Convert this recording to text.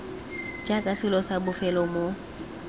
jaaka selo sa bofelo mo